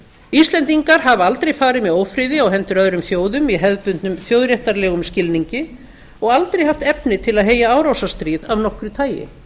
íslendingar hafa aldrei farið með ófriði á hendur öðrum þjóðum í hefðbundnum þjóðréttarlegum skilningi og aldrei haft efni til að heyja árásarstríð af nokkru tagi